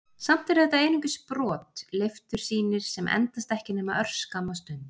Samt eru þetta einungis brot, leiftursýnir sem endast ekki nema örskamma stund.